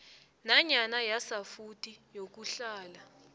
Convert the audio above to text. nanyana yasafuthi yokuhlala